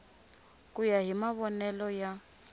ku ya hi mavonele ya